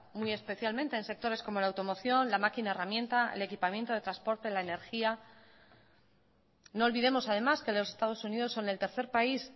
muy especialmente en sectores como la automoción la máquina herramienta el equipamiento de transporte la energía no olvidemos además que los estados unidos son el tercer país